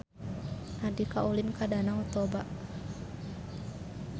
Andika ulin ka Danau Toba